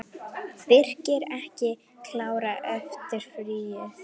Birkir ekki klár eftir fríið?